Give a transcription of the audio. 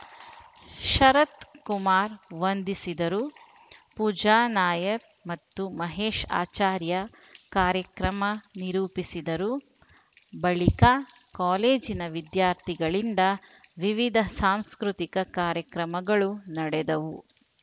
ಶರತ್ ಕುಮಾರ್ ವಂದಿಸಿದರು ಪೂಜಾ ನಾಯರ್ ಮತ್ತು ಮಹೇಶ್ ಆಚಾರ್ಯ ಕಾರ್ಯಕ್ರಮ ನಿರೂಪಿಸಿದರು ಬಳಿಕ ಕಾಲೇಜಿನ ವಿದ್ಯಾರ್ಥಿಗಳಿಂದ ವಿವಿಧ ಸಾಂಸ್ಕೃತಿಕ ಕಾರ್ಯಕ್ರಮಗಳು ನಡೆದವು